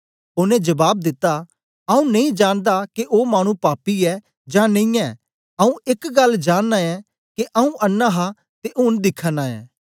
ओनें जबाब दिता आऊँ नेई जांनदा के ओ पापी ऐ जां नेई आऊँ एक गल्ल जांनना ऐ के आऊँ अन्नां हा ते ऊन दिखा नां ऐं